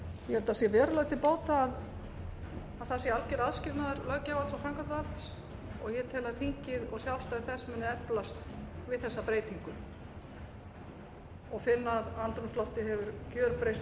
held að það sé verulega til bóta að það sé alger aðskilnaður löggjafarvalds og framkvæmdarvalds og ég tel að þingið og sjálfstæði þess muni eflast við þessa breytingu og finna að andrúmsloftið hefur gerbreyst